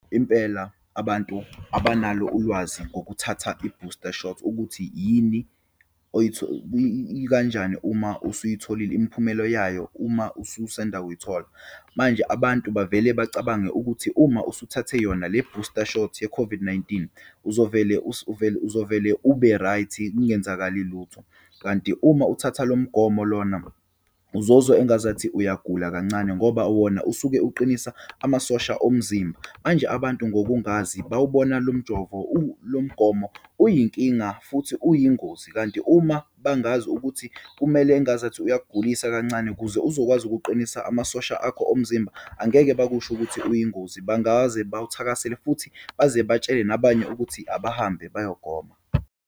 Impela abantu abanalo ulwazi ngokuthatha i-booster shot, ukuthi yini ikanjani uma usuyitholile imiphumelo yayo uma ususanda kuyithola. Manje, abantu bavele bacabange ukuthi uma usuthathe yona le-booster shot ye-COVID-19, uzovele vele, uzovele ube-right kungenzakali lutho. Kanti uma uthatha lo mgomo lona uzozwa engazathi uyagula kancane ngoba wona usuke uqinisa amasosha omzimba. Manje, abantu ngokungazi bawubona lo mjovo, lo mgomo uyinkinga futhi uyingozi, kanti uma bangazi ukuthi kumele engazathi uyakugulisa kancane kuze uzokwazi ukuqinisa amasosha akho omzimba, angeke bakusho ukuthi uyingozi. Bangaze bawuthakasele futhi baze batshele nabanye ukuthi abahambe bayogoma.